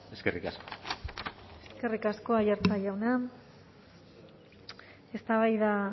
eskerrik asko eskerrik asko aiartza jauna eztabaida